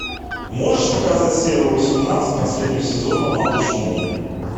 можешь показать серию восемнадцать последнего сезона малыш мун